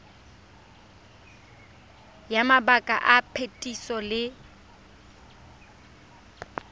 ya mabaka a phetiso le